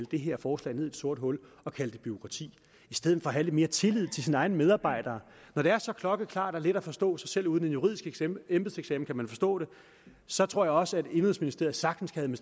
det her forslag ned i et sort hul og kalde det bureaukrati i stedet for at have lidt mere tillid til sine egne medarbejdere når det er så klokkeklart og let at forstå så selv uden en juridisk embedseksamen kan man forstå det så tror jeg også at indenrigsministeriet sagtens kan